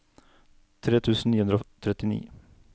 tre tusen ni hundre og trettini